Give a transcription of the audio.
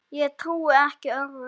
Ég trúi ekki öðru.